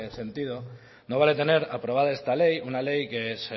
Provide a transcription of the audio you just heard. sentido no vale tener aprobada esta ley una ley que se